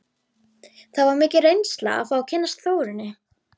Það var mikil reynsla að fá að kynnast Þórunni.